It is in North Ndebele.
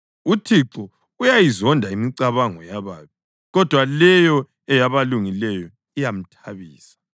UThixo uyayizonda imicabango yababi, kodwa leyo eyabalungileyo iyamthabisa.